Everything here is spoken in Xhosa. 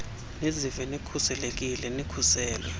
nizive nikhuselekile nikhuselwe